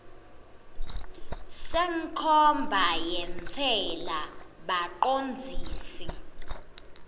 senkhomba yentsela bacondzisi